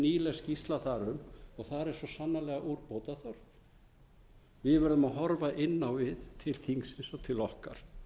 nýleg skýrsla þar um og þar er svo sannarlega úrbóta þörf við verðum að horfa inn á við til þingsins og til okkar